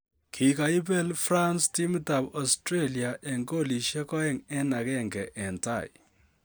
Kigaibel France timit ab Australia 2-1 en tai